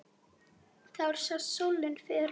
Þar sást sólin fyrr.